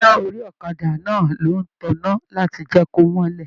Iná orí ọ̀kàdà náà ló n tanná láti jẹ ko mọlẹ